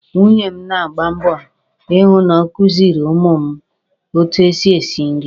Nwunye m na-agba mbọ I hụ na ọ kuziiri ụmụ m etu e si esi nri.